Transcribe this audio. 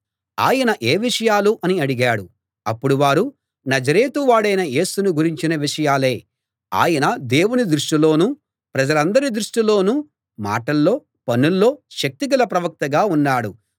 ఆయన ఏ విషయాలు అని అడిగాడు అప్పుడు వారు నజరేతు వాడైన యేసును గురించిన విషయాలే ఆయన దేవుని దృష్టిలోనూ ప్రజలందరి దృష్టిలోనూ మాటల్లో పనుల్లో శక్తిగల ప్రవక్తగా ఉన్నాడు